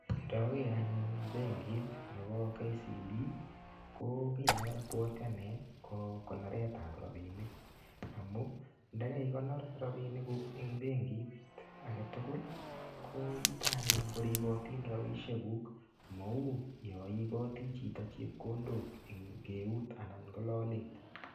Ndager anyur benkit nebo KCB, ko kiy ne abwati anee, ko koneretap rabinik. Amu ndekaikonor rabinik kuk eng benkit age tugul, yuton anyun koripotin rabisiek kuk. Mau yaaiboti chito chepkondok eng eut, anan ko lolet.